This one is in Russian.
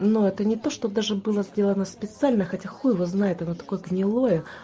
ну это не то что даже было сделано специально хотя хуй его знает оно такое гнилое